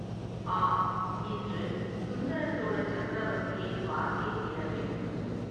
ஆம் இன்று சுந்தரசோழ சக்கரவர்த்தியைப் பார்த்தே தீரவேண்டும்.